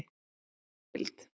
Salan var umdeild.